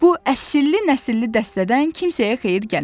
Bu əsilli-nəcilli dəstədən kimsəyə xeyir gəlməz.